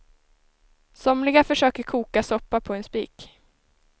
Somliga försöker koka soppa på en spik.